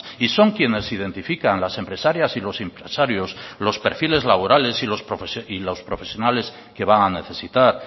y son quienes identifican las empresarias y los empresarios los perfiles laborales y los profesionales que van a necesitar